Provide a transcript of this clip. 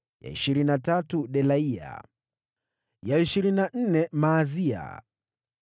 ya ishirini na tatu Delaya, ya ishirini na nne Maazia.